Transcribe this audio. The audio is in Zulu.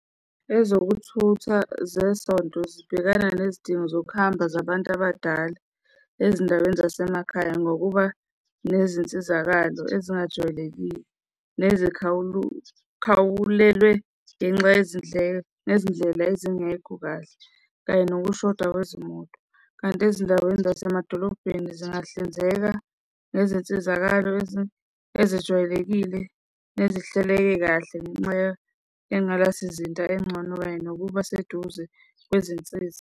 Ezokuthutha zesonto zibhekana nezidingo zokuhamba zabantu abadala ezindaweni zasemakhaya ngokuba nezinsizakalo ezingajwayelekile nezikhawulele ngenxa yezindleko nezindlela ezingekho kahle, kanye nokushoda kwezimoto. Kanti ezindaweni zasemadolobheni zingahlinzeka ngezinsizakalo ezijwayelekile nezihleleke kahle ngenxa yenqalasizinda engcono kanye nokuba seduze kwezinsiza.